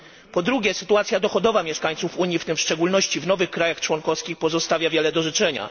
Po drugie sytuacja dochodowa mieszkańców Unii, w tym w szczególności w nowych krajach członkowskich pozostawia wiele do życzenia.